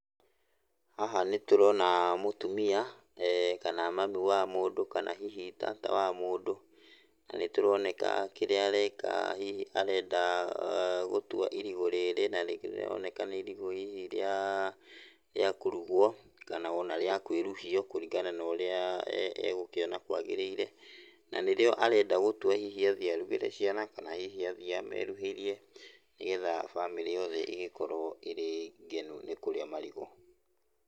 Haha nĩ tũrona mũtumia kana mami wa mũndũ kana hihi tata wa mũndũ, na nĩtũroneka kĩrĩa areka hihi arenda gũtua irigũ rĩrĩ na nĩrĩroneka nĩ irigũ hihi rĩa, rĩa kũrugwo kana ona rĩa kwĩruhio kũringana norĩa egũkĩona kwagĩrĩire. Na nĩrĩo arenda gũtua hihi athiĩ arugĩre ciana kana hihi athiĩ ameruhĩrie, nĩgetha bamĩrĩ yothe ĩgĩkorwo ĩrĩ ngenu nĩ kũrĩa marigũ.